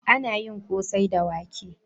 Ana yin kosai da wake.